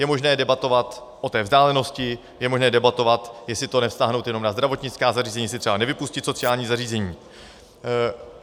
Je možné debatovat o té vzdálenosti, je možné debatovat, jestli to nevztáhnout jenom na zdravotnická zařízení, jestli třeba nevypustit sociální zařízení.